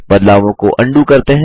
बदलावों को अन्डू करते हैं